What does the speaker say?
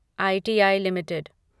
ITI limited